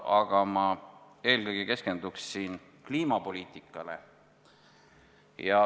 Aga ma eelkõige keskenduksin kliimapoliitikale.